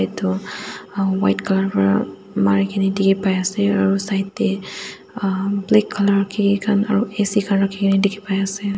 edu white colour pra marikae na dikhipaiase aru side tae um black colour kiki khan aro A_C khan rakhikae na dikhipaiase.